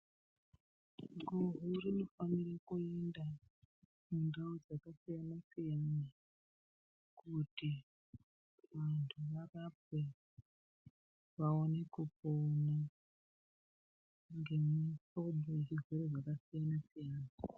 Guhu Rinofanire kuenda mundau dzakasiyana siyana kuti vantu varapwe vaone kupona ngemihlobo yezvirwere zvakasiyana siyana.